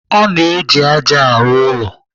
A na-eji ájá arụ ụlọ.